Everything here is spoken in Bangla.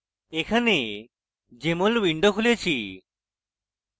এখানে jmol window খুলেছি